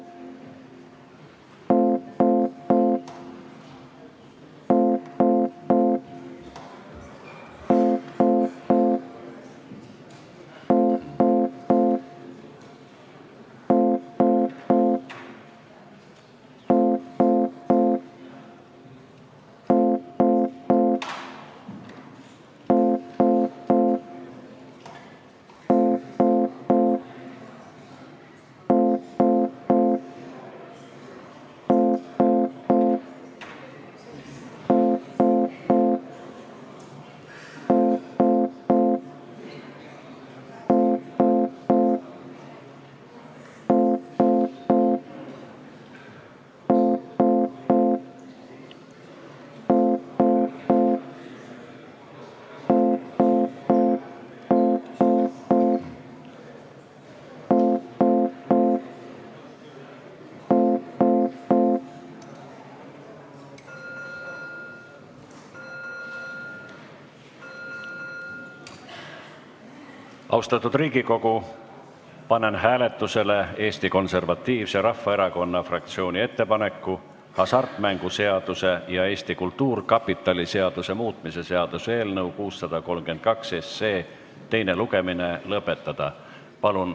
Austatud Riigikogu, panen hääletusele Eesti Konservatiivse Rahvaerakonna fraktsiooni ettepaneku hasartmängumaksu seaduse ja Eesti Kultuurkapitali seaduse muutmise seaduse eelnõu teine lugemine lõpetada.